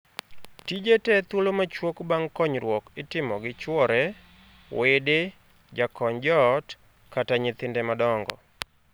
Tije tee thuolo machuok bang' konyruok itimo gi chwore, wede, jakony joot, kata nyithinde madongo.